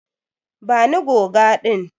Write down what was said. Bani goga din.